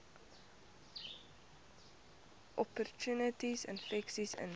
opportunistiese infeksies intree